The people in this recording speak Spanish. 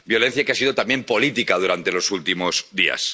Violencia que ha sido también política durante los últimos días.